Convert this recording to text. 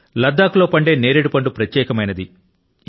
లద్దాఖ్ లో పండే ఎప్రికాట్ పండు ప్రత్యేకమైనది